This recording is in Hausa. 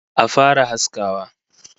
Action!